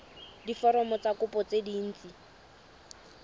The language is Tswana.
diforomo tsa kopo tse dint